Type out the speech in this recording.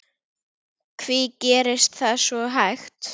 Hví gerist það svo hægt?